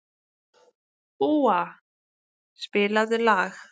Úa, spilaðu lag.